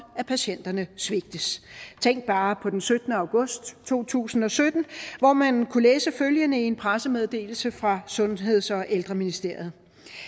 at patienterne svigtes tænk bare på den syttende august to tusind og sytten hvor man kunne læse følgende i en pressemeddelelse fra sundheds og ældreministeriet